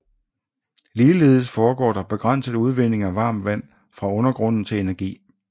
Ligeledes foregår der begrænset udvinding af varmt vand fra undergrunden til energi